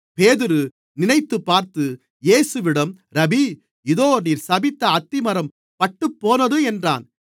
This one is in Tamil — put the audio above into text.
பேதுரு நினைத்துப்பார்த்து இயேசுவிடம் ரபீ இதோ நீர் சபித்த அத்திமரம் பட்டுப்போனது என்றான்